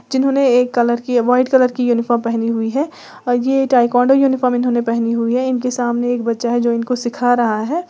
जिन्होंने एक कलर की वाइट कलर की यूनिफॉर्म पहनी हुई है और यह ताइक्वांडो यूनिफॉर्म इन्होंने पहनी हुई है इनके सामने एक बच्चा है जो इनको सीख रहा है।